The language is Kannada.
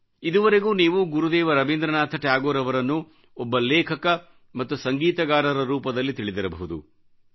ಇದುವರೆಗೂ ನೀವು ಗುರುದೇವ ರವೀಂದ್ರನಾಥ ಠಾಗೋರ್ ಅವರನ್ನು ಒಬ್ಬ ಲೇಖಕ ಮತ್ತು ಸಂಗೀತಕಾರರ ರೂಪದಲ್ಲಿ ತಿಳಿದಿರಬಹುದು